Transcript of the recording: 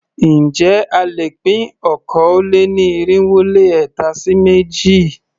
Ǹjẹ́ a lè pín okòó-lé-ní-irínwó-lé-ẹ̀ta sí méjì?